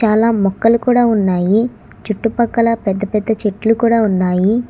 చాలా మొక్కలు కూడా ఉన్నాయి చుట్టుపక్కల పెద్ద పెద్ద చెట్లు కూడా ఉన్నాయి.